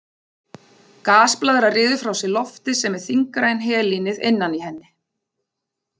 Gasblaðra ryður frá sér lofti sem er þyngra en helínið innan í henni.